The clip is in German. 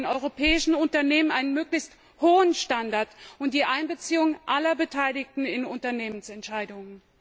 Wir brauchen in europäischen Unternehmen einen möglichst hohen Standard und die Einbeziehung aller Beteiligten in Unternehmensentscheidungen.